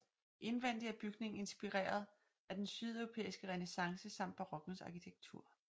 Indvendigt er bygningen inspireret af den sydeuropæiske renæssance samt barokkens arkitektur